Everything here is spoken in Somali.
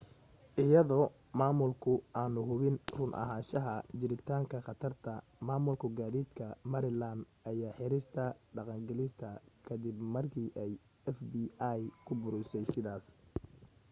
iyadoo maamulku aanu hubin run ahaanshaha jiritaanka khatarta maamulka gaadiidka maryland ayaa xirista dhaqangelista ka dib markii ay fbi ku boorisay sidaas